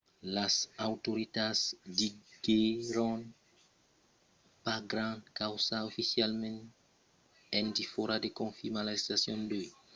las autoritats diguèron pas grand causa oficialament en defòra de confirmar l’arrestacion d’uèi